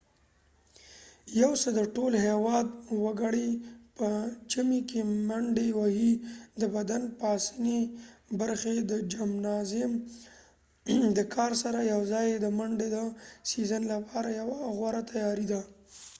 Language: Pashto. یو څه د ټول هیواد وګړی په ژمی کې منډی وهی د بدن د پاسنی برخی د جمنازیم د کار سره یوځای د منډی د سیزن لپاره یوه غوره تیاری دي